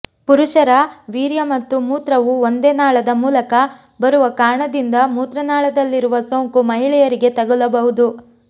ಪುರುಷರ ವೀರ್ಯ ಮತ್ತು ಮೂತ್ರವು ಒಂದೇ ನಾಳದ ಮೂಲಕ ಬರುವ ಕಾರಣದಿಂದ ಮೂತ್ರನಾಳದಲ್ಲಿರುವ ಸೋಂಕು ಮಹಿಳೆಯರಿಗೆ ತಗುಲಬಹುದು